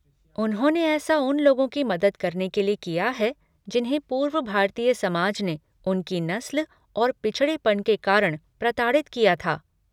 उन्होंने ऐसा उन लोगों की मदद करने के लिए किया है जिन्हें पूर्व भारतीय समाज ने उनकी नस्ल और पिछड़ेपन के कारण प्रताड़ित किया था।